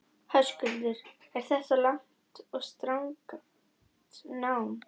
Höskuldur: Er þetta langt og strangt nám?